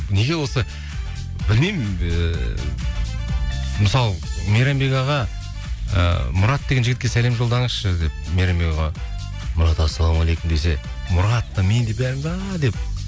неге осы білмеймін ыыы мысалы мейрамбек аға ы мұрат деген жігітке сәлем жолдаңызшы деп мейрамбек аға мұрат ассалаумағалейкум десе мұрат та мен де бәріміз ааа деп